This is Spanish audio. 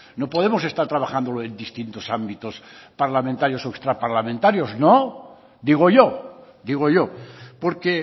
no podemos estar trabajándolo en distintos ámbitos parlamentarios o extraparlamentarios no digo yo digo yo porque